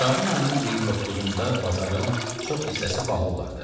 Şabanın 29-da bazarın çox hissəsi bağlı olardı.